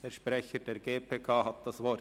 Der Sprecher der GPK hat das Wort.